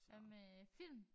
Så med film